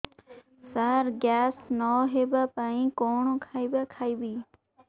ସାର gas ନ ହେବା ପାଇଁ କଣ ଖାଇବା ଖାଇବି